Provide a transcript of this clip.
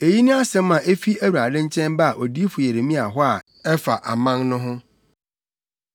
Eyi ne asɛm a efi Awurade nkyɛn baa odiyifo Yeremia hɔ a ɛfa aman no ho.